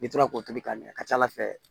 N'i tora k'o tobi ka ɲɛ a ka ca ala fɛ